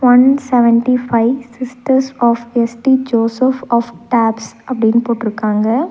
One seventy five sisters of S T Joseph of Tarbes அப்டின்னு போட்ருக்காங்க.